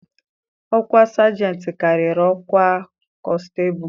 Ọkwa Sajentị karịrị ọkwa konstebụ.